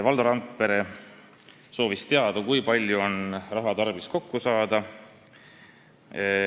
Valdo Randpere soovis teada, kui palju on raha tarvis kokku saada.